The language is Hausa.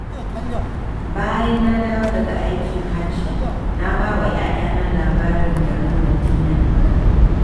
Bayan na dawo daga aikin Hajji, na ba wa 'ya'yana labarin garin Madina.